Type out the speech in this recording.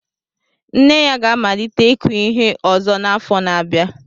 Nne ya ga-amalite ịkụ ihe ọzọ n'afọ na-abịa.